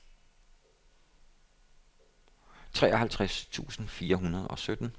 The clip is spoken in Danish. treoghalvtreds tusind fire hundrede og sytten